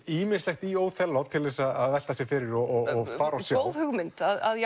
ýmislegt í Óþelló til að velta sér fyrir og fara og sjá góð hugmynd að